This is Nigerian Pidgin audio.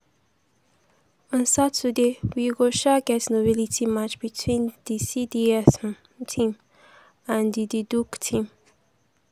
on saturday we go um get a novelty match between di cds um team and di and di duke team. um